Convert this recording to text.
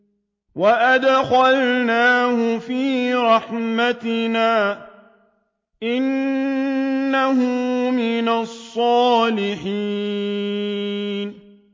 وَأَدْخَلْنَاهُ فِي رَحْمَتِنَا ۖ إِنَّهُ مِنَ الصَّالِحِينَ